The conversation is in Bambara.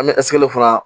An bɛ fana